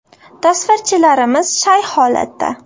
Tasvirchilarimiz shay holatda.